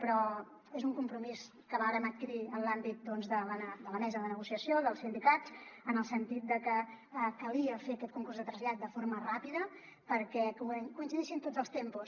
però és un compromís que vàrem adquirir en l’àmbit de la mesa de negociació dels sindicats en el sentit de que calia fer aquest concurs de trasllat de forma ràpida perquè coincidissin tots els tempos